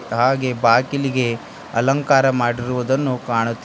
ಹಾಗೆ ಬಾಕಿಲಿಗೆ ಅಲಂಕಾರ ಮಾಡಿರುವುದನ್ನು ಕಾಣುತ್ತಿದೆ.